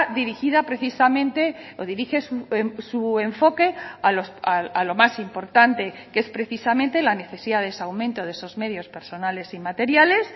dirigida precisamente o dirige su enfoque a lo más importante que es precisamente la necesidad de ese aumento de esos medios personales y materiales